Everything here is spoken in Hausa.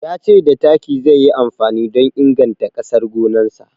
Ya ce da taki zai yi amfani don inganta ƙasar gonarsa.